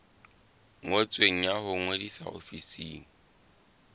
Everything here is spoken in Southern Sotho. ngotsweng ya ho ngodisa ofising